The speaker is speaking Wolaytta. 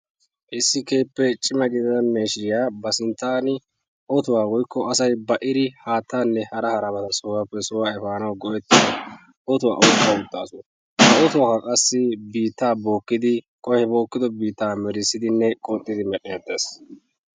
Issi keehippe cimaa gidida miishiriya ba sinttan woykko asay ba'idi haattaane hara haraba sohuwape sohuwa efanawu go'etiyo ottuwa oyqqa uttasu. Ottuwa qassi biita bokkidi; bokkido biita melissidine qoxxidi meredhdheetes.